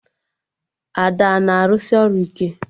Ada a na-arụsị ọrụ ike?